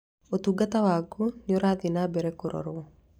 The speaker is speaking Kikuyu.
Ũtungata waku nĩ ũrathiĩ na mbere kũrorwo.